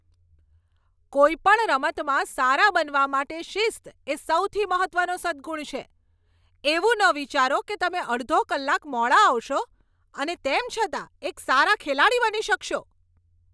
કોઈપણ રમતમાં સારા બનવા માટે શિસ્ત એ સૌથી મહત્ત્વનો સદ્ગુણ છે. એવું ન વિચારો કે તમે અડધો કલાક મોડા આવશો અને તેમ છતાં એક સારા ખેલાડી બની શકશો.